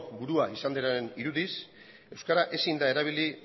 burua izan denaren irudiz euskara ezin da erabili